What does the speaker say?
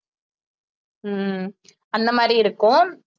ஹம் அந்த மாதிரி இருக்கும்